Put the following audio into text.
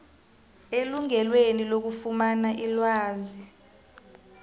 elungelweni lokufumana ilwazi